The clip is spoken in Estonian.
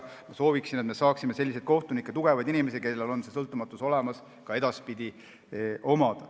Ma sooviksin, et meil saaks selliseid kohtunikke, tugevaid inimesi, kellel on see sõltumatus olemas, olla ka edaspidi.